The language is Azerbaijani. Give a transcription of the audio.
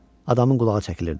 Adamın qulağı çəkilirdi.